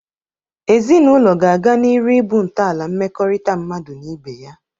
Ezinaụlọ ga-aga n'iru ịbụ ntọala mmekọrịta mmadu na ibe ya.